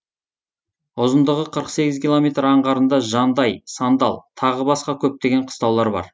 ұзындығы қырық сегіз километр аңғарында жандай сандал тағы басқа көптеген қыстаулар бар